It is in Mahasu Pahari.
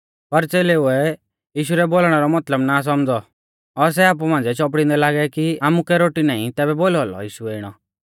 पर च़ेलेउऐ यीशु रै बोलणै रौ मतलब ना सौमझ़ौ और सै आपु मांझ़िऐ चौपड़िंदै लागै कि आमुकै रोटी नाईं तैबै बोलौ औलौ यीशुऐ इणौ